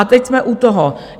A teď jsme u toho.